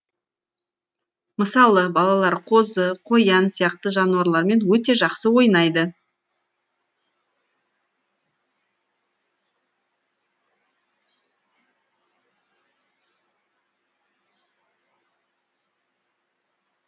мысалы балалар қозы қоян сияқты жануарлармен өте жақсы ойнайды